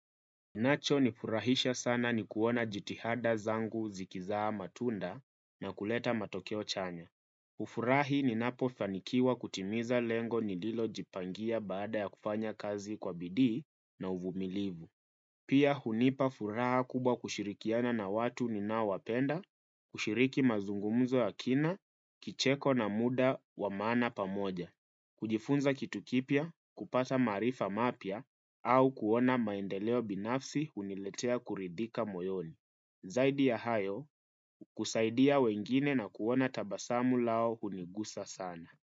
Nacho nifurahisha sana ni kuona jitihada zangu zikizaa matunda na kuleta matokeo chanya. Hufurahi ninapofanikiwa kutimiza lengo nililojipangia baada ya kufanya kazi kwa bidii na uvumilivu. Pia hunipa furaha kubwa kushirikiana na watu ninaowapenda, kushiriki mazungumzo ya kina, kicheko na muda wa maana pamoja. Kujifunza kitu kipya, kupata maarifa mapya, au kuona maendeleo binafsi huniletea kuridhika moyoni. Zaidi ya hayo, kusaidia wengine na kuona tabasamu lao hunigusa sana.